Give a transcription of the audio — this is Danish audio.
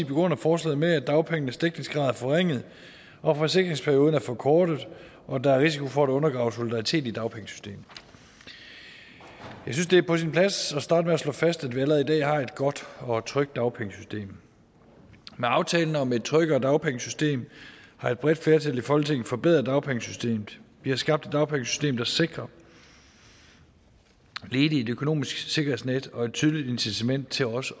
begrunder forslaget med at dagpengenes dækningsgrad er forringet at forsikringsperioden er forkortet og at der er risiko for at undergrave solidariteten i dagpengesystemet jeg synes det er på sin plads at starte med at slå fast at vi allerede i dag har et godt og trygt dagpengesystem med aftalen om et tryggere dagpengesystem har et bredt flertal i folketinget forbedret dagpengesystemet vi har skabt et dagpengesystem der sikrer ledige et økonomisk sikkerhedsnet og et tydeligt incitament til også